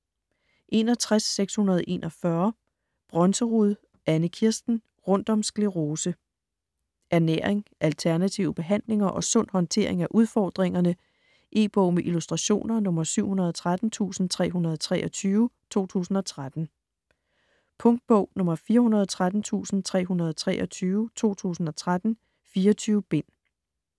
61.641 Brønserud, Anne-Kirsten: Rundt om sklerose Ernæring, alternative behandlinger og sund håndtering af udfordringerne. E-bog med illustrationer 713323 2013. Punktbog 413323 2013. 24 bind.